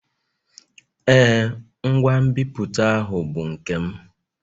Ee, ngwa nbipute ahụ bụ nke m.